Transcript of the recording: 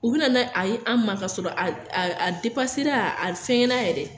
U bi na ni a ye an ma k'a sɔrɔ a a depasera a fɛngɛn na yɛrɛ